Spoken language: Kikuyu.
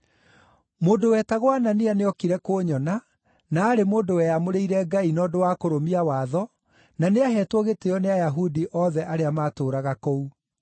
“Mũndũ wetagwo Anania nĩookire kũnyona, na aarĩ mũndũ weamũrĩire Ngai na ũndũ wa kũrũmia watho, na nĩaheetwo gĩtĩĩo nĩ Ayahudi othe arĩa maatũũraga kũu.